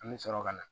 An bɛ sɔrɔ ka na